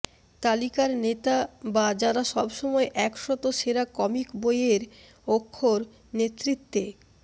তালিকার নেতা বা যারা সব সময় এক শত সেরা কমিক বইয়ের অক্ষর নেতৃত্বে